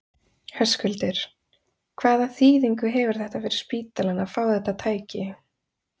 Höskuldur: Hvaða þýðingu hefur þetta fyrir spítalann að fá þetta tæki?